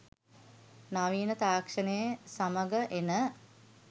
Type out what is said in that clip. නවීන තාක්‍ෂණය සමඟ එන